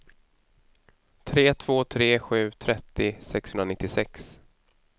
tre två tre sju trettio sexhundranittiosex